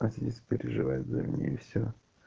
а здесь переживает за меня и все